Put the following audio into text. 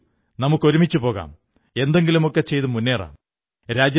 വരൂ നമുക്കൊരുമിച്ചു പോകാം എന്തെങ്കിലുമൊക്കെ ചെയ്തുമുേന്നറാം